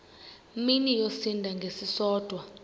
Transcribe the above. mini yosinda ngesisodwa